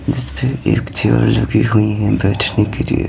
जिस पे एक चेयर लगी हुई है बैठने के लिए--